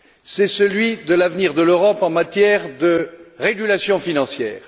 C'est celui de l'avenir de l'Europe en matière de régulation financière.